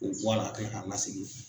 O bɔ a la ka kila k'a lasegin.